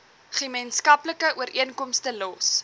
gemeenskaplike ooreenkomste los